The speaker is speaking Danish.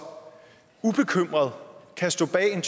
ubekymret kan stå bag en